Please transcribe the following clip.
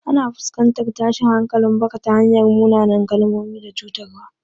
Ana fuskantar tashin hankalin baka ta hanyar munanan kalmomi da cutarwa.